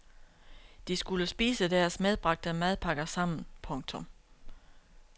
De skulle spise deres medbragte madpakker sammen. punktum